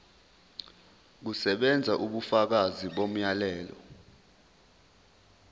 kusebenza ubufakazi bomyalelo